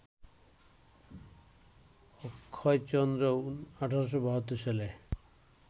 অক্ষয়চন্দ্র ১৮৭২ সালে